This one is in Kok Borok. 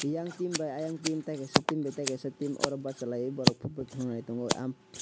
yang team bai ayang team teikaisa team bai teikaisa team oro bachalai borok football thunglai tongo.